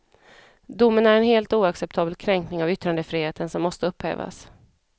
Domen är en helt oacceptabel kränkning av yttrandefriheten som måste upphävas.